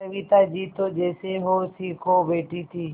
सविता जी तो जैसे होश ही खो बैठी थीं